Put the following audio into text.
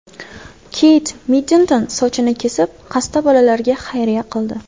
Keyt Middlton sochini kesib, xasta bolalarga xayriya qildi.